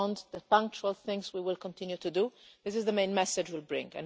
Beyond the ad hoc things we will continue to do, this is the main message we bring.